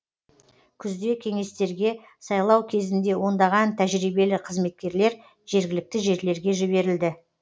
күзде кеңестерге сайлау кезінде ондаған тәжірибелі қызметкерлер жергілікті жерлерге жіберілді